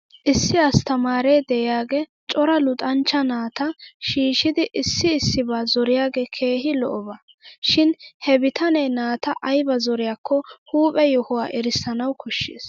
Issi asttamaaree de'iyaagee cora luxanchcha naata shiishidi issi issibaa zoriyoogee keehi lo'oba. Shin he betanee naata aybaa zoryaakko huuphphe yohuwaa erissanaw koshshes.